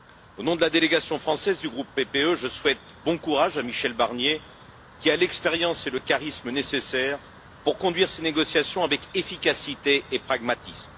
Au nom de la délégation française du groupe PPE, je souhaite bon courage à Michel Barnier, qui a l'expérience et le charisme nécessaires pour conduire ces négociations avec efficacité et pragmatisme.